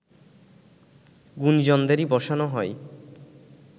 গুণীজনদেরই বসানো হয়